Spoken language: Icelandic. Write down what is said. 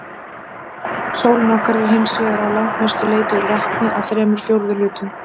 Sólin okkar er hins vegar að langmestu leyti úr vetni, að þremur fjórðu hlutum.